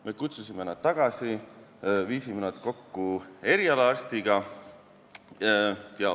Me kutsusime nad tagasi, viisime nad kokku erialaarstiga.